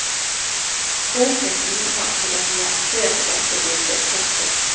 Boken bidrar til å nyansere dette bildet. punktum